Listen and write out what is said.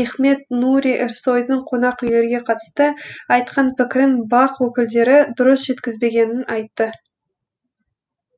мехмет нури эрсойдың қонақ үйлерге қатысты айтқан пікірін бақ өкілдері дұрыс жеткізбегенін айтты